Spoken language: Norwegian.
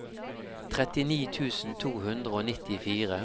trettini tusen to hundre og nittifire